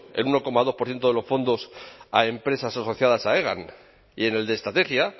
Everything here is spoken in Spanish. en uno coma dos por ciento de los fondos a empresas asociadas a hegan y en el de estrategia